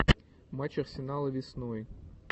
матч арсенала весной